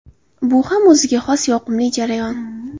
Bu ham o‘ziga xos yoqimli jarayon.